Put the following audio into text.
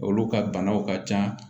Olu ka banaw ka ca